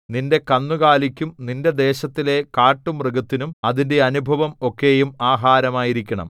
നിന്റെ കന്നുകാലിക്കും നിന്റെ ദേശത്തിലെ കാട്ടുമൃഗത്തിനും അതിന്റെ അനുഭവം ഒക്കെയും ആഹാരമായിരിക്കണം